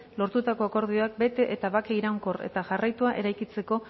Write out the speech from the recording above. lortutako akordioak bete eta bake iraunkor eta jarraitua eraikitzeko